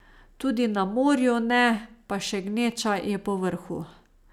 Tudi na morju ne, pa še gneča je povrhu.